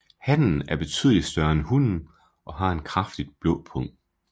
Hannen er betydeligt større end hunnen og har en kraftigt blå pung